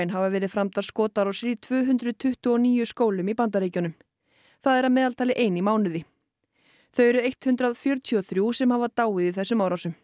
hafa verið framdar skotárásir í tvö hundruð tuttugu og níu skólum í Bandaríkjunum það er að meðaltali ein í mánuði þau eru hundrað fjörutíu og þrjú sem hafa dáið í þessum árásum